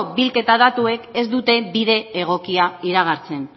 bilketa datuek ez dute bide egokia iragartzen